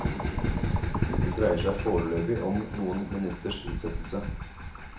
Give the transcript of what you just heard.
Det dreier seg foreløpig om noen minutters utsettelse.